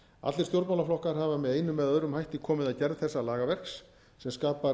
allir stjórnmálaflokkar hafa með einum eða öðrum hætti komið að gerð þessa lagaverks sem skapar